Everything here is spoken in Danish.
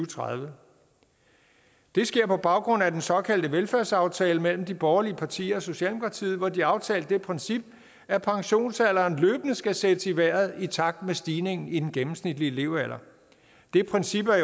tredive det sker på baggrund af den såkaldte velfærdsaftale mellem de borgerlige partier og socialdemokratiet hvor de aftalte det princip at pensionsalderen løbende skal sættes i vejret i takt med stigningen i den gennemsnitlige levealder det princip er